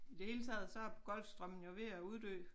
I det hele taget så er Golfstrømmen jo ved at uddø